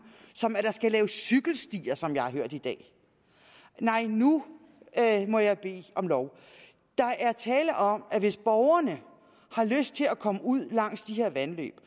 som at der skal laves cykelstier som jeg har hørt i dag nej nu må jeg bede om lov der er tale om at hvis borgerne har lyst til at komme ud langs de her vandløb